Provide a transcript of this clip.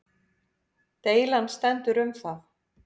Deilan stendur um það